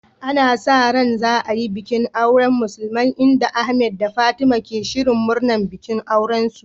Ana sa ran za a yi bikin auren musulmai, inda Ahmed da Fatima ke shirin murnar bikin aurensu.